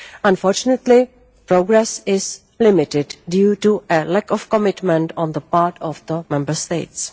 Unfortunately, progress is limited due to a lack of commitment on the part of Member States.